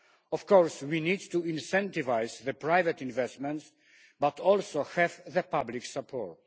Of course, we need to incentivise private investments, but we also need to have public support.